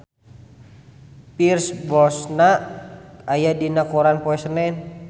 Pierce Brosnan aya dina koran poe Senen